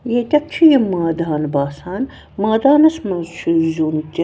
.ییٚتٮ۪تھ چُھ یہِ مٲدان باسان مٲدانس منٛز چُھ زیُن تہِ